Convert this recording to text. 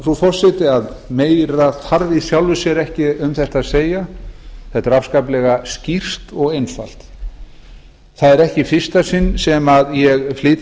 frú forseti meira þarf í sjálfu sér ekki um þetta mál að segja það er afskaplega skýrt og einfalt þetta er ekki í fyrsta sinn sem ég flyt